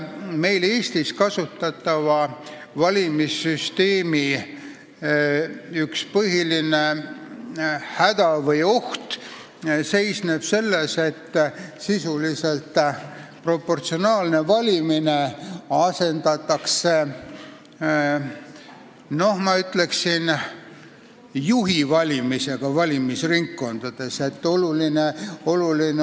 Eestis kasutatava valimissüsteemi üks põhilisi hädasid või ohte seisneb selles, et sisuliselt proportsionaalne valimine asendatakse, ma ütleksin, juhi valimisega valimisringkondades.